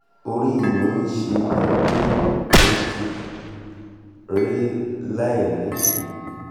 orí mi ń ṣe mí bíi pé mo ti rẹ́ láìnídìí